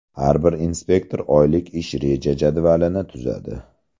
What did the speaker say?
Har bir inspektor oylik ish reja-jadvalini tuzadi.